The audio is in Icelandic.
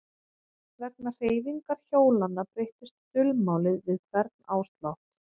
Vegna hreyfingar hjólanna breyttist dulmálið við hvern áslátt.